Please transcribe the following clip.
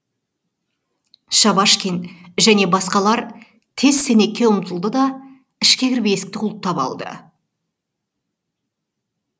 шабашкин және басқалар тез сенекке ұмтылды да ішке кіріп есікті құлыптап алды